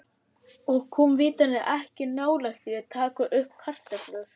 Og kom vitanlega ekki nálægt því að taka upp kartöflur.